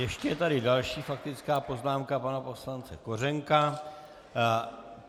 Ještě je tady další faktická poznámka pana poslance Kořenka.